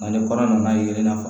Nka ni kɔnɔ nana ye nafa